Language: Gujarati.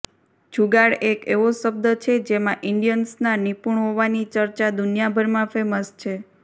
જુગાડ એક એવો શબ્દ છે જેમાં ઇન્ડિયન્સનાં નિપુણ હોવાની ચર્ચા દુનિયાભરમાં ફેમસ છે